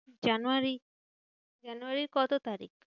জানুয়ারী, জানুয়ারীর কত তারিখ?